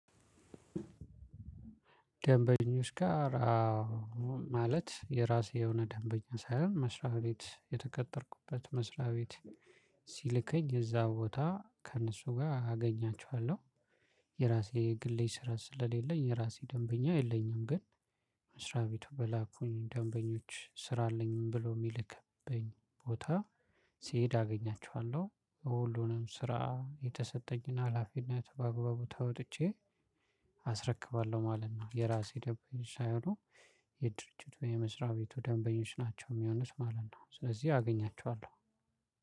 ደንበኞች ጋር አዎ ማለት የራሴ የሆነ ደንበኛ ሳይሆን መስሪያ ቤት የተቀጠርኩበት መስሪያ ቤት ሲልከኝ እዛ ቦታ ከእነሱ ጋር አገኛችኋለሁ። የራሴ ግሌ ስራ ስለሌለኝ የራሴ ደንበኛ የለኝም። ግን መስሪያ ቤቱ በላኩኝ ደንበኞች ስራ አለኝም ብሎ የሚልክበኝ ቦታ ሲሄድ አገኛቸዋለሁ። ሁሉንም ስራ የተሰጠኝና ሀላፊነት በአግባቡ ተወጥቼ አስረክባለሁ ማለት ነው። የራሴ ደንብኞች ሳይሆኑ የድርጅት ወይ የመስሪያ ቤቱ ደንበኞች ናቸው የሚሆንት ማለት ነው። ስለዚህ አገኛቸዋለሁ።